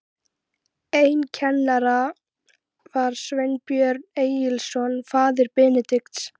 Einn kennara var Sveinbjörn Egilsson, faðir Benedikts.